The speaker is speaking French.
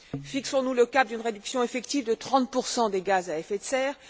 Fixons nous le cap d'une réduction effective de 30 des gaz à effet de serre!